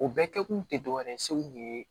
O bɛɛ kɛkun te dɔwɛrɛ ye segu ni ye